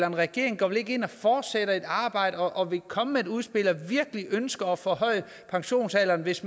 en regering går vel ikke ind og fortsætter et arbejde og vil komme med et udspil at virkelig ønsker at forhøje pensionsalderen hvis